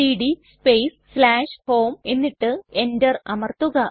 CD space home എന്നിട്ട് enter അമർത്തുക